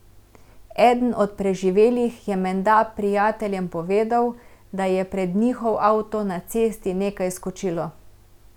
Eden od preživelih je menda prijateljem povedal, da je pred njihov avto na cesti nekaj skočilo.